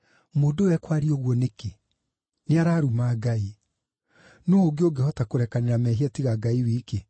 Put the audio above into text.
“Mũndũ ũyũ ekwaria ũguo nĩkĩ? Nĩ araruma Ngai! Nũũ ũngĩ ũngĩhota kũrekanĩra mehia tiga Ngai wiki?”